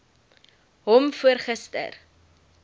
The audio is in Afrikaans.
hom voor gister